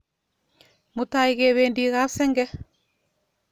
Mutai kependi kap senge